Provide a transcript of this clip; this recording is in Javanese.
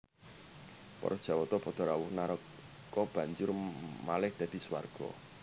Para Jawata padha rawuh naraka banjur malih dadi swarga